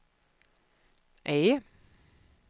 E